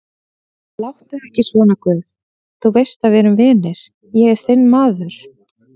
Láttu ekki svona guð, þú veist að við erum vinir, ég er þinn maður.